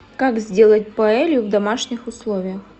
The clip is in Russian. как сделать паэлью в домашних условиях